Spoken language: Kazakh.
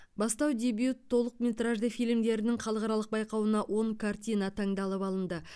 бастау дебют толықметражды фильмдердің халықаралық байқауына он картина таңдалып алынды